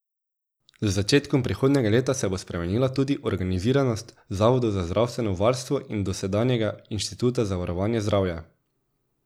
Z začetkom prihodnjega leta se bo spremenila tudi organiziranost zavodov za zdravstveno varstvo in dosedanjega Inštituta za varovanje zdravja.